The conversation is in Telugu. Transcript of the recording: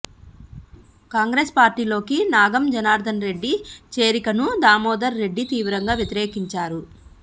కాంగ్రెస్ పార్టీలోకి నాగం జనార్దనరెడ్డి చేరికను దామోదర్ రెడ్డి తీవ్రంగా వ్యతిరేకించారు